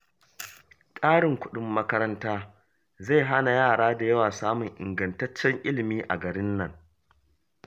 Ƙarin kuɗin makaranta zai hana yara da yawa samun ingantaccen ilimi a garin nan